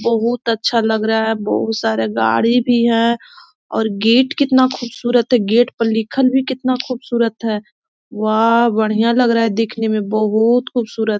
बहुत अच्छा लग रहा है बहुत सारे गाड़ी भी है और गेट कितना खुबसूरत है गेट पर लिखत भी कितना खुबसूरत है वाह बढ़िया लग रहा है देखने में बहुत खुबसूरत --